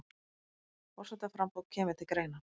Forsetaframboð kemur til greina